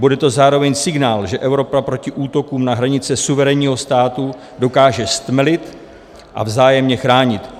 Bude to zároveň signál, že Evropa proti útokům na hranice suverénního státu dokáže stmelit a vzájemně chránit.